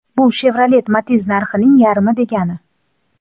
Bu Chevrolet Matiz narxi ning yarmi degani.